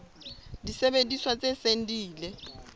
disebediswa tse seng di ile